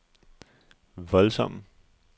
voldsomme